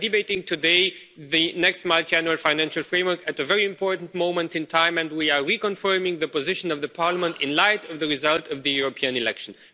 We are debating today the next Multiannual Financial Framework at a very important moment in time, and we are reconfirming the position of Parliament in light of the results of the European elections.